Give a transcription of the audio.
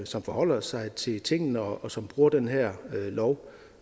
som forholder sig til tingene og som bruger den her lov